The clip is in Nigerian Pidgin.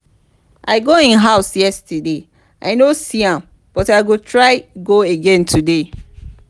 i go im house yesterday i no see am but i go try go again today